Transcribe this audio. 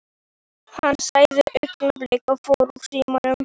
Hann sagði augnablik og fór úr símanum.